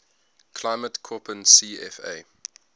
climate koppen cfa